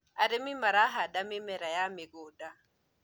arĩmi marahanda mĩmera ya mĩgũnda